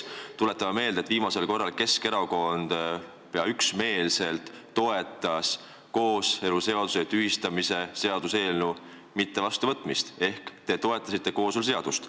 Tuletan meelde, et viimasel korral Keskerakond toetas pea üksmeelselt kooseluseaduse tühistamise seaduse eelnõu mitte vastuvõtmist ehk te toetasite kooseluseadust.